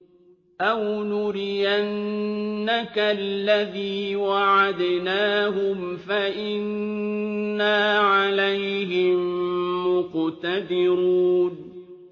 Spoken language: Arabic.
أَوْ نُرِيَنَّكَ الَّذِي وَعَدْنَاهُمْ فَإِنَّا عَلَيْهِم مُّقْتَدِرُونَ